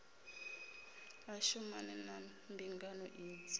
a shumane na mbingano idzi